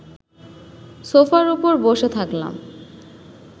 সোফার ওপর বসে থাকলাম